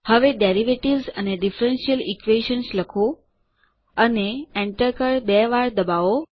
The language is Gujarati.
હવે ડેરિવેટિવ્સ એન્ડ ડિફરન્શિયલ Equations લખો અને enter કળ બે વાર દબાવો